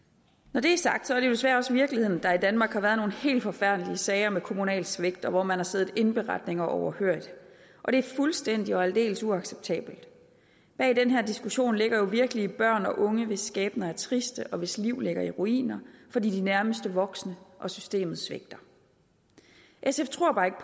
når det er sagt er det jo desværre også virkeligheden at der i danmark har været nogle helt forfærdelige sager med kommunalt svigt og hvor man har siddet indberetninger overhørig og det er fuldstændig og aldeles uacceptabelt bag den her diskussion ligger jo virkelige børn og unge hvis skæbner er triste og hvis liv ligger i ruiner fordi de nærmeste voksne og systemet svigter sf tror bare ikke